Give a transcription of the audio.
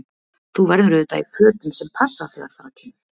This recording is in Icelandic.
Þú verður auðvitað í fötum sem passa þegar þar að kemur!